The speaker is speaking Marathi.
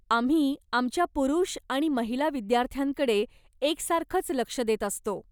आम्ही आमच्या पुुरुष आणि महिला विद्यार्थ्यांकडे एकसारखंच लक्ष देत असतो.